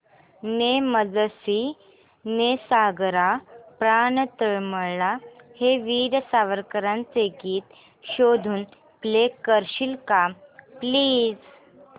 ने मजसी ने सागरा प्राण तळमळला हे वीर सावरकरांचे गीत शोधून प्ले करशील का प्लीज